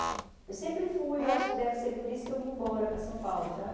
Eu sempre fui, eu acho que deve ser por isso que eu vim embora para São Paulo, sabe?